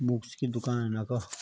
बुक्स की दूकान यख।